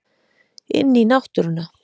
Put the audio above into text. Inn í náttúruna.